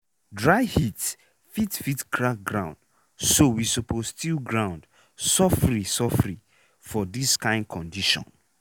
dry heat fit fit crack ground so we suppose till ground sofri sofri for dis kain condition.